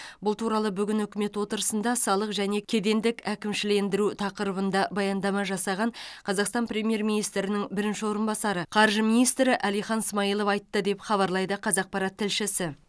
бұл туралы бүгін үкімет отырысында салық және кедендік әкімшілендіру тақырыбында баяндама жасаған қазақстан премьер министрінің бірінші орынбасары қаржы министрі әлихан смайылов айтты деп хабарлайды қазақпарат тілшісі